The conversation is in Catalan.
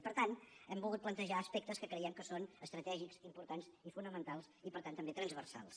i per tant hem volgut plantejar aspectes que creiem que són estratègics importants i fonamentals i per tant també transversals